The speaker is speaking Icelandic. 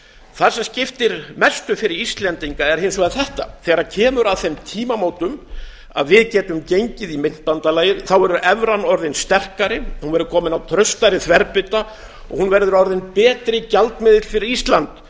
það sem skiptir mestu fyrir íslendinga er hins vegar þetta þegar kemur að þeim tímamótum að við getum gengið í myntbandalagið verður evran orðin sterkari hún verður komin á traustari þverbita og hún verður orðinn betri gjaldmiðill fyrir ísland